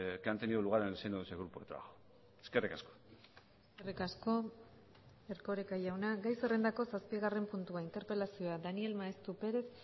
que han tenido lugar en el seno de ese grupo de trabajo eskerrik asko eskerrik asko erkoreka jauna gai zerrendako zazpigarren puntua interpelazioa daniel maeztu perez